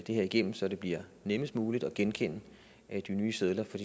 det her igennem så det bliver nemmest muligt at genkende de nye sedler for